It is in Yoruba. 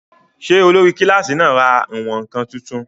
Ṣé olórí kílásì náà ra ìwọ̀n-ǹkan tuntun?